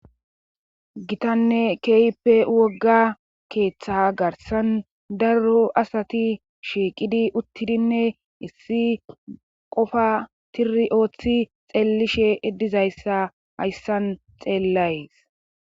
gitanne keeyppe wogga keeththa garsan darro asati shiiqidi uttidinne issi qofa tiri ooththi xeellishe iddizayssa hayssan xeellays